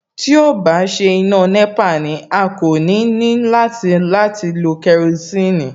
Tí ó bá ṣe iná nẹ́pà ni, a kò ní ní láti láti lo kerosiini